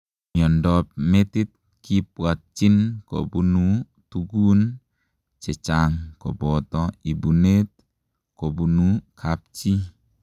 Miondoop metiit kibwatchiin kobunuu tugun chechaang kobotoo ibunet kobunu kapchii